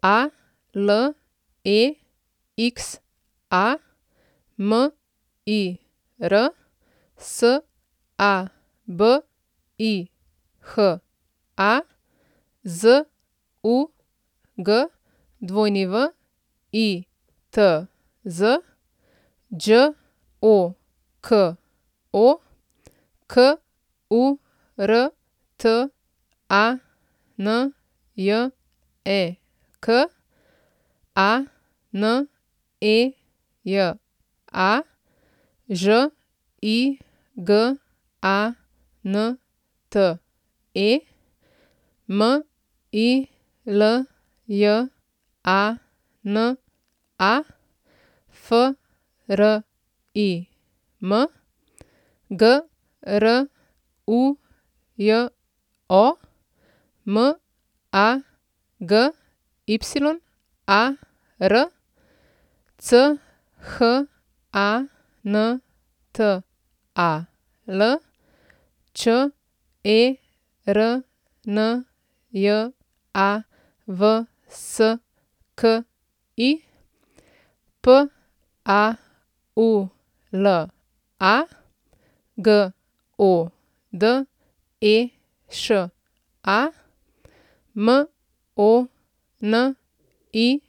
Alexa Mir, Sabiha Zugwitz, Đoko Kurtanjek, Aneja Žigante, Miljana Frim, Grujo Magyar, Chantal Černjavski, Paula Godeša, Monique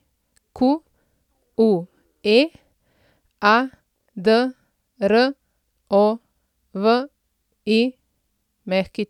Adrović.